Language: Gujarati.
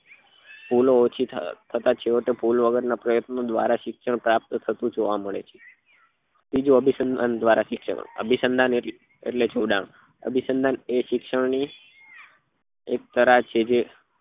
ભૂલો ઓછી થતા થતા ભૂલ વગર ના પ્રયત્નો દ્વારા શિક્ષણ પ્રાપ્ત થતું જોવા મળે છે બીજું અભિસંધાન દ્વારા શિક્ષણ અભિસંધાન એટલે જોડાણ અભિસંધાન એ શિક્ષણ ની એક તરાર છે જે